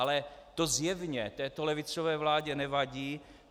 Ale to zjevně této levicové vládě nevadí.